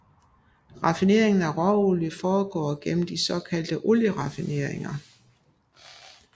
Raffineringen af råolie foregår gennem de såkaldte olieraffineringer